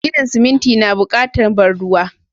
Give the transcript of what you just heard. Ginin siminti na bukatar ban ruwa.